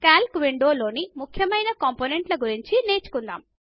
కల్క్ window లోని ముఖ్యమైన component ల గురించి నేర్చుకుందాము